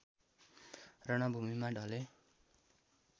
रणभूमिमा ढले